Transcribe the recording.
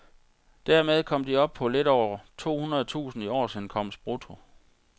Dermed kom de op på lidt over to hundrede tusinde i årsindkomst brutto.